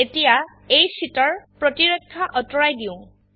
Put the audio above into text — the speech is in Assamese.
এতিয়া এই শীট এৰ প্ৰতিৰক্ষা অতৰুৱাই দিও